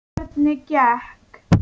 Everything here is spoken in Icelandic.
Hvernig gekk?